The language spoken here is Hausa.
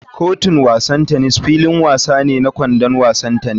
Kotun wasan tennis filin wasa ne na [kwandon wasan tennis.